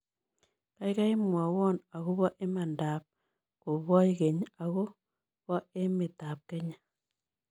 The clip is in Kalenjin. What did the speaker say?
Kaigai mwawon ago po imanandap koboch keny ago po emetap kenya